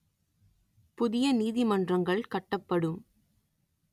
புதிய நீதிமன்றங்கள் கட்டப்படும்